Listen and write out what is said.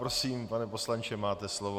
Prosím, pane poslanče, máte slovo.